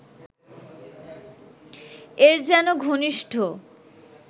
এর যেন ঘনিষ্ঠ